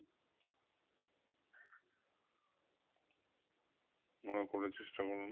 মনে করার চেষ্টা করুন